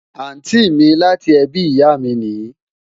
Àntí mi láti ẹbí ìyá mi nìí